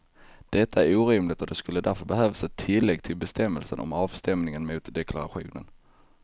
Detta är orimligt och det skulle därför behövas ett tillägg till bestämmelsen om avstämning mot deklarationen.